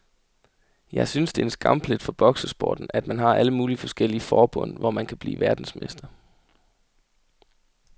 Jeg synes det er en skamplet for boksesporten, at man har alle mulige forskellige forbund, hvor man kan blive verdensmester.